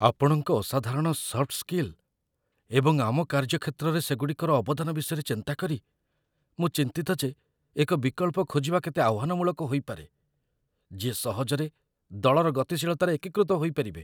ଆପଣଙ୍କ ଅସାଧାରଣ soft skill ଏବଂ ଆମ କାର୍ଯ୍ୟକ୍ଷେତ୍ରରେ ସେଗୁଡ଼ିକର ଅବଦାନ ବିଷୟରେ ଚିନ୍ତା କରି, ମୁଁ ଚିନ୍ତିତ ଯେ ଏକ ବିକଳ୍ପ ଖୋଜିବା କେତେ ଆହ୍ୱାନମୂଳକ ହୋଇପାରେ, ଯିଏ ସହଜରେ ଦଳର ଗତିଶୀଳତାରେ ଏକୀକୃତ ହୋଇପାରିବେ